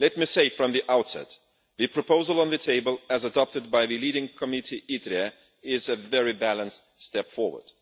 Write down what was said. Let me say from the outset the proposal on the table, as adopted by the leading committee is a very balanced step forward.